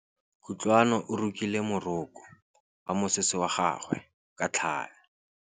Kutlwanô o rokile morokô wa mosese wa gagwe ka tlhale.